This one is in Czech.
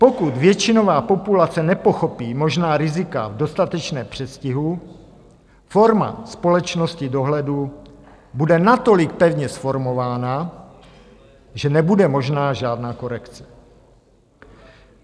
Pokud většinová populace nepochopí možná rizika v dostatečném předstihu, forma společnosti dohledu bude natolik pevně zformována, že nebude možná žádná korekce.